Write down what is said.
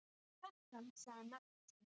Kjartan sagði nafn sitt.